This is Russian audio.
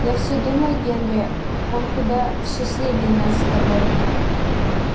я всё думаю генри он куда счастливее нас с тобой